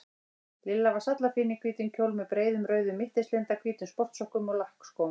Lilla var sallafín í hvítum kjól með breiðum rauðum mittislinda, hvítum sportsokkum og lakkskóm.